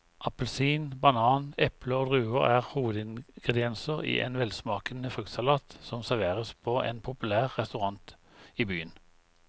Appelsin, banan, eple og druer er hovedingredienser i en velsmakende fruktsalat som serveres på en populær restaurant i byen.